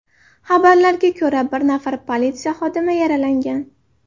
Xabarlarga ko‘ra, bir nafar politsiya xodimi yaralangan.